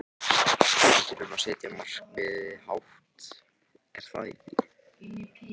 Við þurfum að setja markmiðin hátt er það ekki?